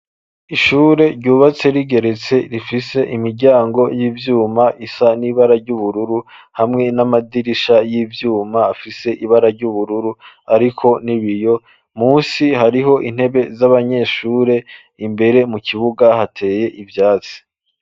Ishure ryubatse rigeretse, rifise imiryango y'ivyuma isa n'ibara ry'ubururu, hamwe n'amadirisha y'ivyuma afise ibara ry'ubururu, ariko n'ibiyo. Musi hariho intebe z'abanyeshure. Imbere mu kibuga hateye ivyatsi.